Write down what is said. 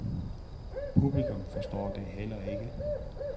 Publikum forstår det heller ikke.